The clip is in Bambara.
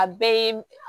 A bɛɛ ye